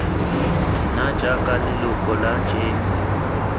nna jaaka leloko la gems